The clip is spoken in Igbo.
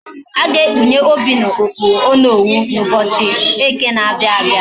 Aga ekpunye Obinna okpu onowu na ubochi eke na abia abia